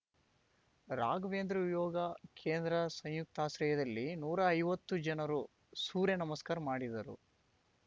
ರಾಘವೇಂದ್ರ ಯೋಗ ಕೇಂದ್ರ ಸಂಯುಕ್ತಾಶ್ರಯದಲ್ಲಿ ನೂರಾ ಐವತ್ತು ಜನರು ಸೂರ್ಯ ನಮಸ್ಕಾರ ಮಾಡಿದರು